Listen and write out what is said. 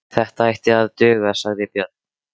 Þetta ætti að duga, sagði Björn.